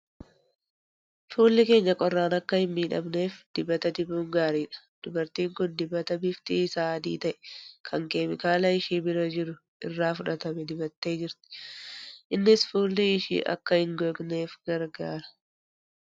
Fuulli keenya qorraan akka hin miidhamneef dibata dibuun gaariidha. Dubartiin kun dibata bifti isaa adii ta'e, kan keemikaala ishii bira jiru kana irraa fudhatame dibattee jirti. Innis fuulli ishii akka hin gogneef gargaara.